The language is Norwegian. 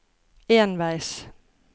enveis